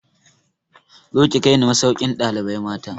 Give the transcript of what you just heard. Zo ki kai ni masaukin ɗalibai mata!